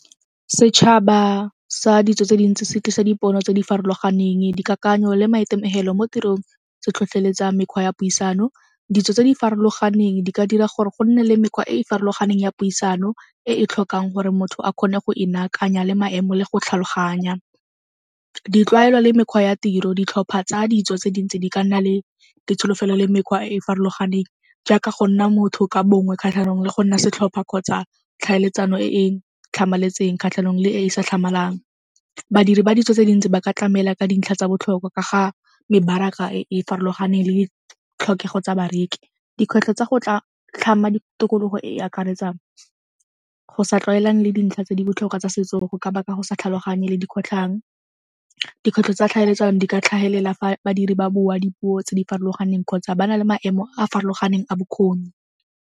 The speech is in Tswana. Setšhaba sa ditso tse dintsi se tlisa dipono tse di farologaneng, dikakanyo le maitemogelo mo tirong se tlhotlheletsa mekgwa ya puisano. Ditso tse di farologaneng di ka dira gore go nne le mekgwa e e farologaneng ya puisano e e tlhokang gore motho a kgone go e nakanya le maemo le go tlhaloganya. Ditlwaelo le mekgwa ya tiro ditlhopha tsa ditso tse dingwe tse di ka nna le ditsholofelo le mekgwa e e farologaneng jaaka go nna motho ka bongwe kgatlhanong le go nna setlhopha kgotsa tlhaeletsano e e tlhamaletseng kgatlhanong le e e sa tlhamalang. Badiri ba ditso tse dintsi ba ka tlamela ka dintlha tsa botlhokwa ka ga mebaraka e e farologaneng le ditlhokego tsa bareki. Dikgwetlho tsa go tlhama ditokologo e e akaretsa go sa tlwaelane le dintlha tse di botlhokwa tsa setso go ka baka go sa tlhaloganye le dikgotlhang. Dikgwetlho tsa tlhaeletsano di ka tlhagelela fa badiri ba bua dipuo tse di farologaneng kgotsa ba na le maemo a a farologaneng a bokgoni.